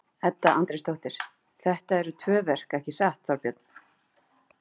Edda Andrésdóttir: Þetta eru tvö verk ekki satt Þorbjörn?